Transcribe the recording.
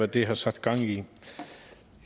det har sat gang